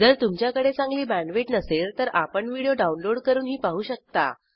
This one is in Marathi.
जर तुमच्याकडे चांगली बॅण्डविड्थ नसेल तर आपण व्हिडिओ डाउनलोड करूनही पाहू शकता